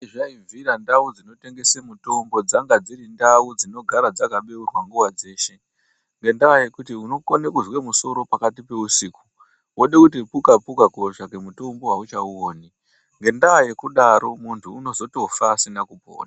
Zvaibvira ndau dzinotengesa mitombo dzanga dziri ndau dzinogara dzakabeurwa nguva dzese ngendaa yekuti inokone kuzwa kusoro pakati peusiku wode kuti kuka kuka kotsvake mutombo hauchauoni ngendaa yekudaro muntu unozotofa asina kupona.